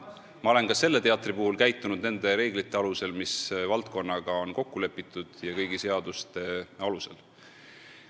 Ma olen ka selle teatri puhul käitunud nende reeglite alusel, mis valdkonnaga on kokku lepitud, ja kõigi seaduste alusel.